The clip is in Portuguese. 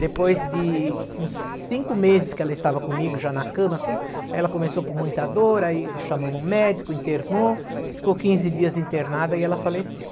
Depois de uns cinco meses que ela estava comigo, já na cama, tudo, ela começou com muita dor, aí chamamos um médico, internou, ficou quinze dias internada e ela faleceu.